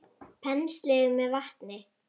Penslið með vatni.